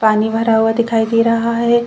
पानी भरा हुआ दिखाई दे रहा है।